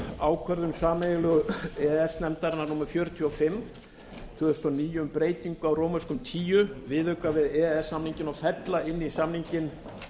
ákvörðun sameiginlegu e e s nefndarinnar númer fjörutíu og fimm tvö þúsund og níu um breytingu á tíunda viðauka við e e s samninginn og fella inn í samninginn